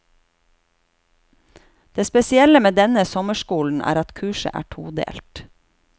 Det spesielle med denne sommerskolen er at kurset er todelt.